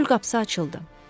Çöl qapısı açıldı.